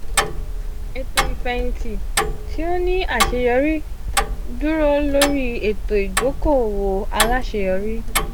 eto ifẹhinti ti o ni aṣeyọri duro lori eto idoko-owo alaṣeyọri.